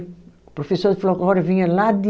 O professor de folclore vinha lá de